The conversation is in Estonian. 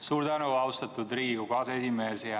Suur tänu, austatud Riigikogu aseesimees!